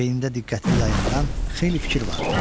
Beynində diqqətini yayındıran xeyli fikir vardı.